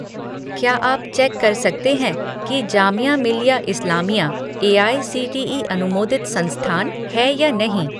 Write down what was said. क्या आप चेक कर सकते हैं कि जामिया मिल्लिया इस्लामिया एआईसीटीई अनुमोदित संस्थान है या नहीं?